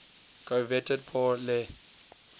coveted pour le